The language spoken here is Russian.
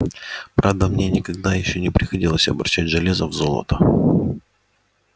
правда мне никогда ещё не приходилось обращать железо в золото